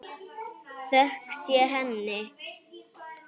Þökk sé henni.